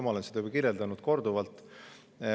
Ma olen seda korduvalt.